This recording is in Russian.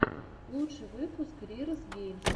лучший выпуск рирз геймс